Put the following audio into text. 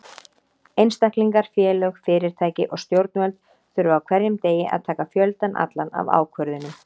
Einstaklingar, félög, fyrirtæki og stjórnvöld þurfa á hverjum degi að taka fjöldann allan af ákvörðunum.